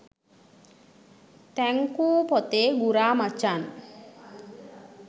thank you පොතේ ගුරා මචන්